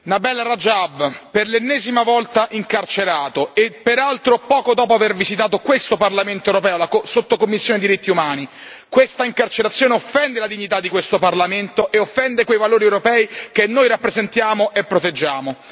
Signor Presidente, onorevoli colleghi, Nabeel Rajab, per l'ennesima volta, incarcerato e, peraltro, poco dopo aver visitato, in questo Parlamento europeo, la sottocommissione per i diritti umani. Questa incarcerazione offende la dignità di questo Parlamento e offende quei valori europei che noi rappresentiamo e proteggiamo.